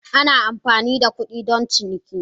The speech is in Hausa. Ana amfani da kuɗi don ciniki